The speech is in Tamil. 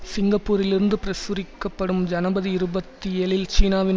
சிங்கப்பூரிலிருந்து பிரசுரிக்கப்டும் ஜனபரி இருபத்தி ஏழில் சீனாவின்